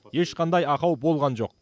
ешқандай ақау болған жоқ